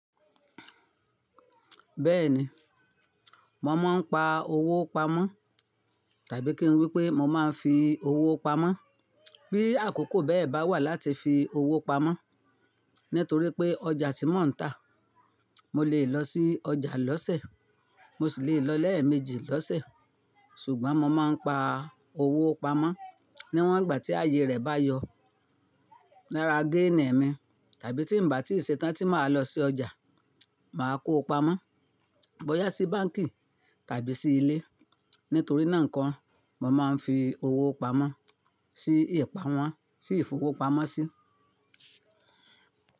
Bẹ́ẹ̀ni, mo máa ń pa owó pamọ́ tàbí kí n wí pé mo máa ń fi owó pamọ́. Bí àkókò bẹ́ẹ̀ bá wà láti fi owó pamọ́ nítorí pé ọjà tí mò ń tà, mo lè lọ sí ọjà lọ́sẹ̀, mo sì lè lọ lẹ́ẹ̀mejì lọ́sẹ̀. Ṣùgbọ́n mo máa ń pa owó pamọ́ níwọ̀n ìgbà tí ààyè rẹ̀ bá yọ. Lára géènì mi tàbí tí ń bà tí ì ṣe tán tí màá lọ sí ọjà, màá kó pamọ́, bọyá sí báǹkì tàbí sí ilé. Nítorí náà nko mo máa ń fi owó pamọ́ sí ìpàmọ, sí ìfowópamọ́sí.